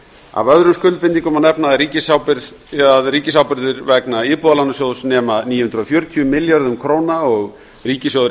af öðrum skuldbindingum má nefna að ríkisábyrgðir vegna íbúðalánasjóðs nema níu hundruð fjörutíu milljörðum króna og ríkissjóður